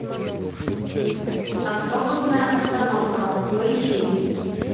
автобусная остановка поищи